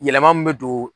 Yɛlɛma min bɛ don